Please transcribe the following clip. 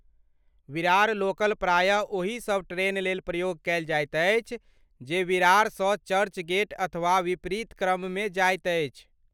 Virar local प्रायः ओहि सभ ट्रेन लेल प्रयोग कयल जाइत अछि जे विरारसँ चर्चगेट अथवा विपरीत क्रममे जाइत अछि।